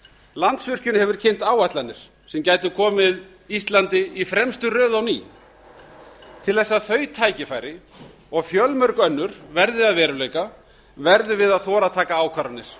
landsvirkjun hefur kynnt áætlanir sem gætu komið íslandi í fremstu röð á ný til þess að þau tækifæri og fjölmörg önnur verði að veruleika verum við að þora að taka ákvarðanir